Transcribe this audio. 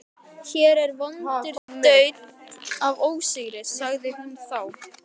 Hér er vondur daunn af ósigri, sagði hún þá.